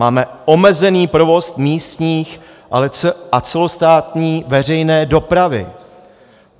Máme omezený provoz místní a celostátní veřejné dopravy.